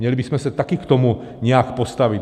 Měli bychom se také k tomu nějak postavit.